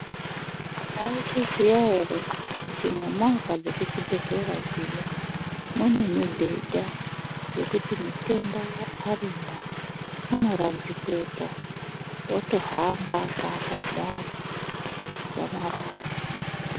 Mwaizviziya ere kuti mumovha dzekuchibhedhlera dziya mune mibhedha yekuti mitenda arimwo unoradzikwepo otohamba akaata kudaro dzamara aguma.